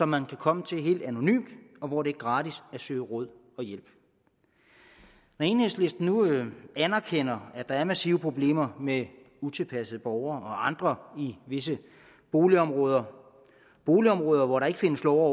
man kan komme helt anonymt og hvor det er gratis at søge råd og hjælp enhedslisten anerkender at der er massive problemer med utilpassede borgere og andre i visse boligområder boligområder hvor der ikke findes lov